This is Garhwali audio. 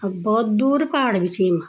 अर बहौत दूर पहाड़ भी छी इमा।